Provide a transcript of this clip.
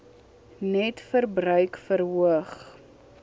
net verbruik verhoog